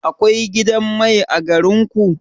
Akwai gidan mai a garin ku?